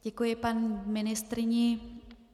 Děkuji paní ministryni.